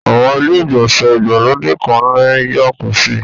Àwọn ilé-ìgbọ̀nsẹ̀ ìgbàlódé kan ní jàkúsì